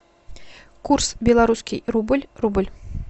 курс белорусский рубль рубль